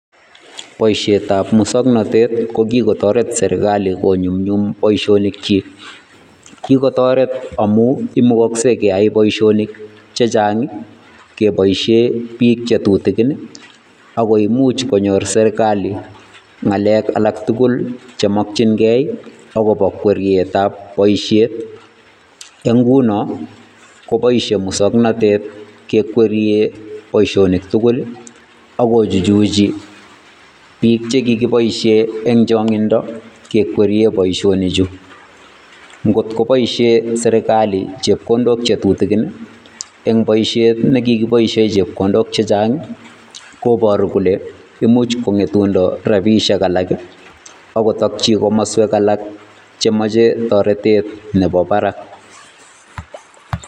Boisietab muswoknatet kokigotoret serkali konyumnyum boisionik kyi. Kigotoret amu imugaksei keyai boisionik chechang ii kebaisie biik che tutigin ago imuch konyor serekali ng'alek alak tugul chemakchingei agobo kwerietab boisiet. Eng' nguno, koboisie muswoknatet gekwerie boisionik tugul ago chuchuchi biik chekigibaishe eng' chong'indo gekwerie boisionik chu. Ngotko boishe serekali chepkondok che tutigin eng' boisiet ne kigiboishe chepkondok chechang, koboru kole imuch kong'etundo rabiishek alak ii agotokchi komaswek alak chemache toretet nebo barak.